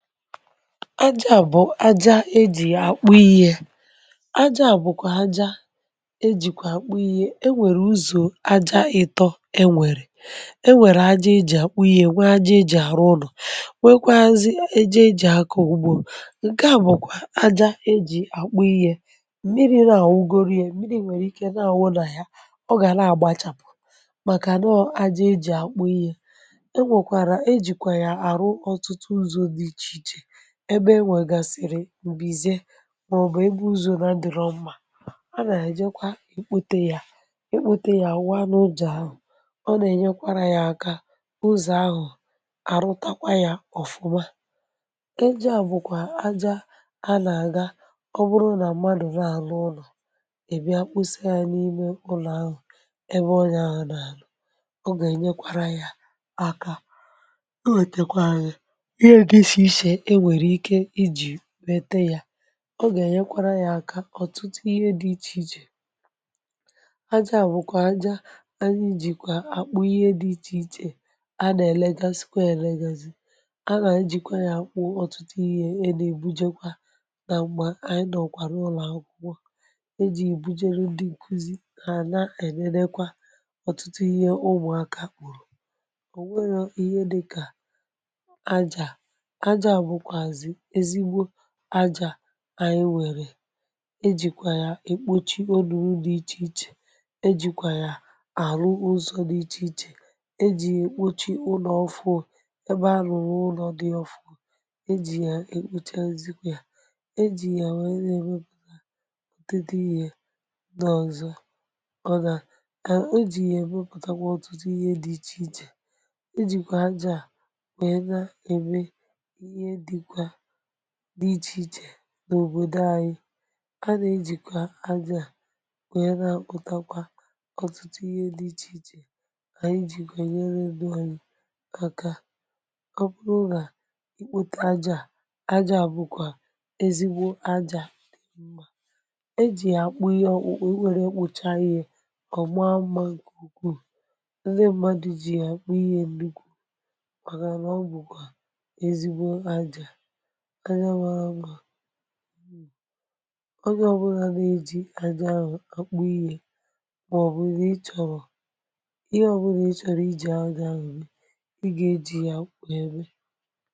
aja bụ aja eji̇ àkpụ ihe aja bụkwa aja ejikwa àkpụ ihe e nwèrè ụzọ̇ aja ịtọ̇ e nwèrè e nwèrè aja eji̇ àkpụ ihe nwe aja eji̇ àrụ ụlọ̀ nwekwazị aja eji̇ àkọ ụgbò nke à bụ̀kwa aja eji̇ àkpụ ihe mmiri̇ nà-àwụ gori ye mmiri̇ nwèrè ike na-àwụ nà ya ọ gà na-àgbachàpụ̀ màkà nọ ọ aja eji̇ àkpụ ihe enwekwara ejikwa ya arụ ọtụtụ ụzọ di iche iche ebe enwe gasiri mbize maọbụ ebe uzọ na adirọ mma ana ejekwa ekpọte ya, ekpọte ya awụ ọ na-uzọ ahụ ọ na enyerekwa ya aka ụzọ ahụ arụtakwara ya ọfụma, aja bụkwa aja ana aga ọbụrụ na mmadụ na alụ ụṅọ i bia mkpọsa ya n’ime ụlọ ahụ ebe ọnye ahụ na alụ ọga ẹ̀nyẹkwara ya aka iwetekwazi ihe dị ichè ichè enwereike iji mete ya ọ ga enyekwara ya aka ọtụtụ ihe di iche iche, aja bụ̀kwa aja anyi jikwa àkpụ ihe dị ichè ichè a nà ẹ̀lẹ̀gazị kwa ẹ̀lẹ̀gazị a nà ejìkwa ya àkpụ ọ̀tụtụ ihe ẹ nà èbujekwa nà m̀gbè ànyị nọkwa na ulọ̀akwukwọ e ji bujeru dị nkuzi ha na enẹnẹkwa ọ̀tụtụ ihe ụmụ̀aka kpùrù ò wẹrọ ihe dị kà ajà, aja bukwazi ezigbọ aja anyi nwèrè ejìkwà ya èkpochi olu̇ulù di ichèichè ejìkwà ya àrụ ụzọ̇ di ichèichè ejì èkpochi ụlọ̀ ọfuù ebe arụ̀rụ̀ ụlọ̀ dị̀ ofu e jì ya èkpochazikwà ya e jì ya wère na-ème pụ̀ taa ọtụtụ ihe ndi ọzọ ọ nà e jì ya èbepụ̀takwa ọ̀tụtụ ihe dị̇ ichèichè ejìkwà ajà wee na eme ihe dikwa dị ichèichè n’òbòdò anyị a nà-ejìkwa ajà wee na-àkpụtakwa ọ̀tụtụ ihe dị ichèichè anyị jìkwa e nyere ndu anyi aka ọ bụrụ nà ikpȯtȧ ajȧ ajȧ bụ̀kwà ezigbo ajȧ di mma e jì ya akpụ ihe ọ̀kpụ̀kpụ iwere ya kpụcha ihe ọ̀ ma mmȧ nke ụkwụ ndị mmadu̇ ji ya àkpụ ihe nnukwụ maka na ọ bụ̀kwà ezigbọ aja mara mma, onye ọbụlà na-eji àjà ahụ àkpụ ihe mà ọ̀bụ na ị chọ̀rọ̀ ihe ọ̀bụla ị chọ̀rọ̀ iji̇ aja ahụ wee eme i ga eji ya wee mme.